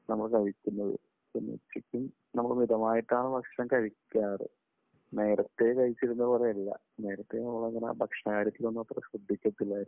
നമ്മൾ കഴിക്കുന്നത്. പിന്നെ ഉച്ചയ്ക്കും നമ്മൾ മിതമായിട്ടാണ് ഭക്ഷണം കഴിക്കാറ്. നേരത്തെ കഴിച്ചിരുന്ന പോലെയല്ല. നേരത്തെ നമ്മൾ അങ്ങനെ ഭക്ഷണകാര്യത്തിൽ ഒന്നും അത്ര ശ്രദ്ധിക്കത്തില്ലായിരുന്നു.